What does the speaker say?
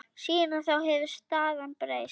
Síðan þá hefur staðan breyst.